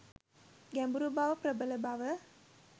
ගැඹුරුබව, ප්‍රබල බව